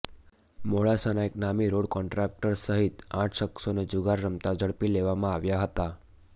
મોડાસાના એક નામી road contractor સહિત આઠ શખ્સોને જુગાર રમતા ઝડપી લેવામાં આવ્યા હતા